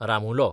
रामुलो